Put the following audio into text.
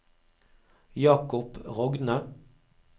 Jakob Rogne